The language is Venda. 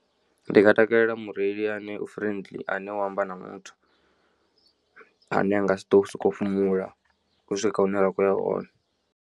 Ndi nga takalela mureili ane u friendly ane wa amba na muthu ane a nga si to so kou fhumula u swika hune ra kho ya hone.